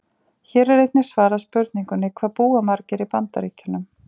Hér er einnig svarað spurningunum: Hvað búa margir í Bandaríkjunum?